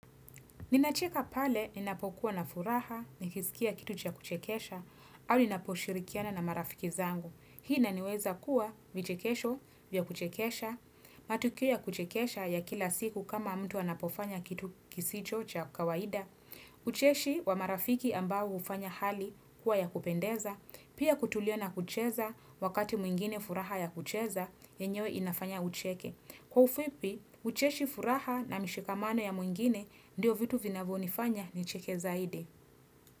Ninacheka pale ninapokuwa na furaha, nikisikia kitu cha kuchekesha, au ninaposhirikiana na marafiki zangu. Hii inaniweza kuwa vichekesho vya kuchekesha, matukio ya kuchekesha ya kila siku kama mtu anapofanya kitu kisicho cha kawaida. Ucheshi wa marafiki ambao hufanya hali kuwa ya kupendeza, pia kutulia na kucheza wakati mwingine furaha ya kucheza, yenyewe inafanya ucheke. Kwa ufupi, ucheshi furaha na mishikamano ya mwingine ndio vitu vinavyonifanya ni cheke zaidi.